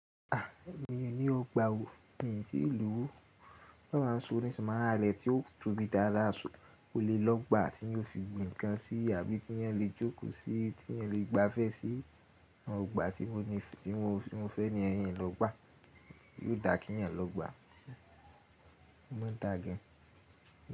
A, èmi ò ní ọgbà o. Mi tí lówó, tí Ọlọ́run bá ṣe owó nísinyí má ra ilé tí ó tóbi dáadáa, sọ kó lè lọ ọgbà tí èèyàn ó fi gbin nǹkan sí àbí tí èèyàn lè jókòó sí i, tí èèyàn lè gbafẹ́ sí ọgbà tí mo ní, tí mo fẹ́ níyen, in lọ ọgbà, yiò dà kí èèyàn lọ gbà. Ó máa ń dà gan.